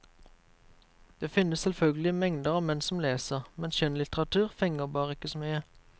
Det finnes selvfølgelig mengder av menn som leser, men skjønnlitteratur fenger bare ikke så mye.